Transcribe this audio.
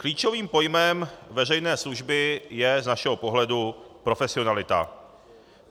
Klíčovým pojmem veřejné služby je z našeho pohledu profesionalita.